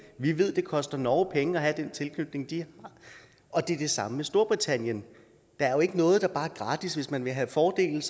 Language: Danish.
vi ved at det koster norge penge at have den tilknytning de har og det er det samme med storbritannien der er jo ikke noget der bare er gratis hvis man vil have fordele